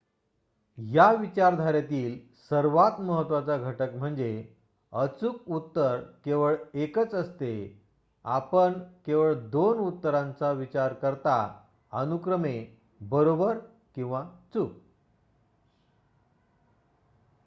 या विचारधारेतील सर्वात महत्वाचा घटक म्हणजेः अचूक उत्तर केवळ एकच असते आपण केवळ दोन उत्तरांचा विचार करता अनुक्रमे बरोबर किंवा चूक